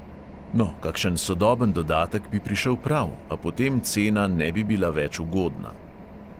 No, kakšen sodoben dodatek bi prišel prav, a potem cena ne bi bila več ugodna.